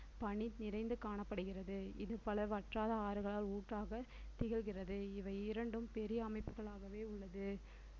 பனி நிறைந்து காணப்படுகிறது இது பல வற்றாத ஆறுகளால் ஊற்றாக திகழ்கிறது இவை இரண்டும் பெரிய அமைப்புகளாகவே உள்ளது